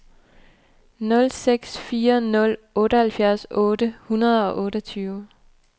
nul seks fire nul otteoghalvfjerds otte hundrede og otteogtyve